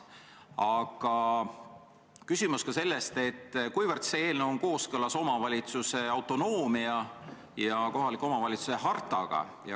Aga küsimus on ka selles, kuivõrd see eelnõu on kooskõlas omavalitsuse autonoomia põhimõtte ja kohaliku omavalitsuse hartaga.